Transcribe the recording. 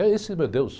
É esse meu Deus.